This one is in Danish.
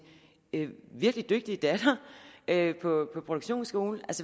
virkelig dygtige datter på produktionsskole